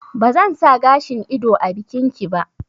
Ba zan sa gashin ido a bikin ki ba